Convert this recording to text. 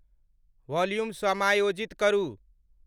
Volume समायोजित करू।